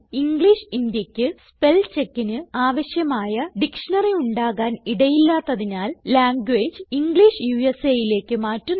English Indiaക്ക് spell checkന് ആവശ്യമായ ഡിക്ഷ്ണറി ഉണ്ടാകാൻ ഇടയില്ലാത്തതിനാൽ ലാംഗ്വേജ് ഇംഗ്ലിഷ് USAലേക്ക് മാറ്റുന്നു